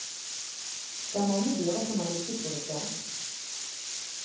Det er mange dører som er lukket for et barn.